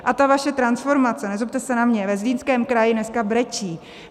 A ta vaše transformace, nezlobte se na mě, ve Zlínském kraji dneska brečí.